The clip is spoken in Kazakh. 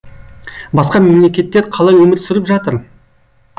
басқа мемлекеттер қалай өмір сүріп жатыр